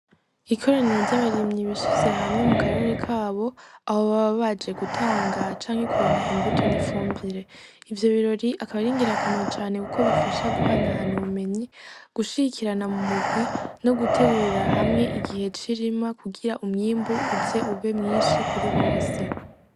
Ikoraniro ry'abarimyi bishize hamwe mu karere kabo, aho baba baje gutanga canke kuronka imbuto n'ifumbire, ivyo birori akaba ari ngira kamaro cane kuko bifasha guhana hana ubumenyi gushigikirana mu murwi no gutegurira, hamwe igihe cirima kugira umwimbu uze ube mwishi kuri bose.